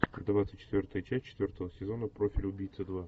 двадцать четвертая часть четвертого сезона профиль убийцы два